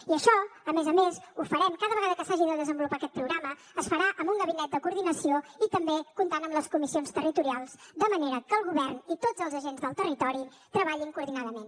i això a més a més ho farem cada vegada que s’hagi de desenvolupar aquest programa es farà amb un gabinet de coordinació i també comptant amb les comissions territorials de manera que el govern i tots els agents del territori treballin coordinadament